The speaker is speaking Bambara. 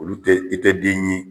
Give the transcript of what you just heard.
Olu tɛ i tɛ den ye